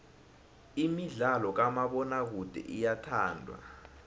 imidlalo kamabonakude iyathandwa